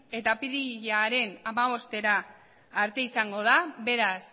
eta apirilaren hamabostera arte izango da beraz